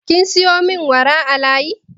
Kin sayo min wara a layi?